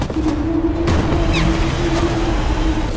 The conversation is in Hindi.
खिडकिया भी दिख --